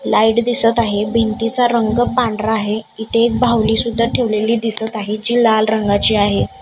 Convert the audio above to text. Light दिसत आहे भिंतीचा रंग पांढरा आहे इथे एक बाहुली सुद्धा ठेवलेली दिसत आहे जी लाल रंगाची आहे.